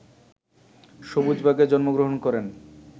সবুজবাগে জন্মগ্রহণ করেন